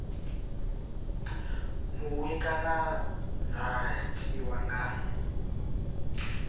muṅwe kana dza tiwa nga